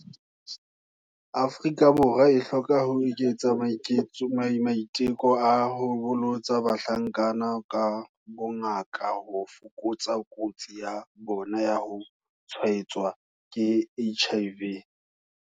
Afrika Borwa e hloka ho eketsa maiteko a ho bolotsa bahlankana ka bongaka ho fokotsa kotsi ya bona ya ho tshwaetswa ke HIV.